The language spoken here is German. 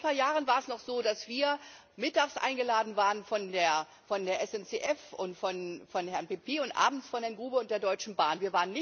Vor ein paar Jahren war es noch so, dass wir mittags eingeladen waren von der SNCF und von Herrn Pepy und abends von Herrn Grube und der Deutschen Bahn.